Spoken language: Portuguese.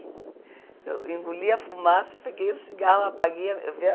Eu engoli a fumaça, peguei o cigarro, apaguei